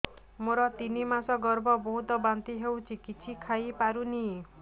ମୋର ତିନି ମାସ ଗର୍ଭ ବହୁତ ବାନ୍ତି ହେଉଛି କିଛି ଖାଇ ପାରୁନି